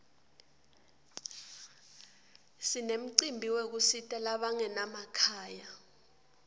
sinemcimbi yekusita labangena makhaya